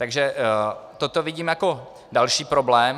Takže toto vidím jako další problém.